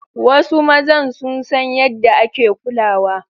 Wasu mazan sun san yaɗda ake kulawa.